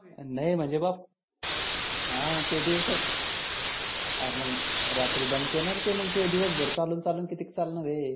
नाही म्हणजे बप हा ते दिवसाचं काय मग रात्री दमतेना नारे ते मग. दिवस भर चालवून चालवून कितीक चालनार आहे?